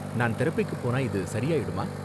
நான் தெரபிக்கு போனா இது சரியாயிடுமா?